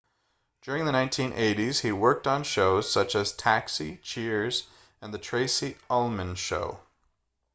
during the 1980s he worked on shows such as taxi cheers and the tracy ullman show